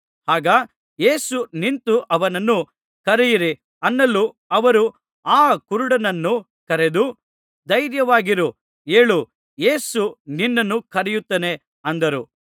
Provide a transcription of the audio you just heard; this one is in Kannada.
ಆಗ ಯೇಸು ನಿಂತು ಅವನನ್ನು ಕರೆಯಿರಿ ಅನ್ನಲು ಅವರು ಆ ಕುರುಡನನ್ನು ಕರೆದು ಧೈರ್ಯವಾಗಿರು ಏಳು ಯೇಸು ನಿನ್ನನ್ನು ಕರೆಯುತ್ತಾನೆ ಅಂದರು